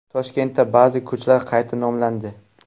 Toshkentda ba’zi ko‘chalar qayta nomlandi.